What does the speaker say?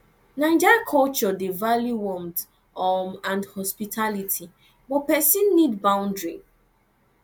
naija culture dey value warmth um and hospitality but pesin need boundary